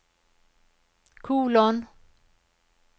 kolon